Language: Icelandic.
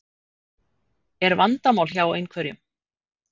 Er vandamál hjá einhverjum?